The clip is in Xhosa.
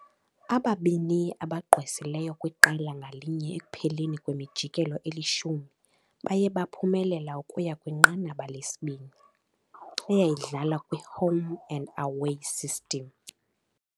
Ababini abagqwesileyo kwiqela ngalinye ekupheleni kwemijikelo eli-10 baye baphumelela ukuya kwinqanaba lesibini, eyayidlalwa kwi-home-and-away system.